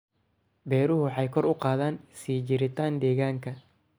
Beeruhu waxay kor u qaadaan sii jiritaan deegaanka.